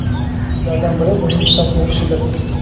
Shulardan biri uning kitob o‘qishidir.